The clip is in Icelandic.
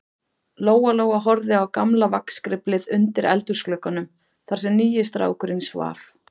Lóa-Lóa horfði á gamla vagnskriflið undir eldhúsglugganum, þar sem nýi strákurinn svaf.